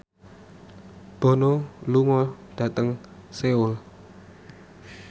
Bono lunga dhateng Seoul